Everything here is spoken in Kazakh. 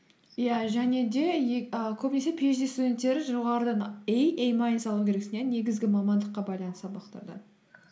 иә және де і көбінесе пиэйчди студенттері жоғарыдан эй эй майнус алуын керексің иә негізгі мамандыққа байланысты сабақтардан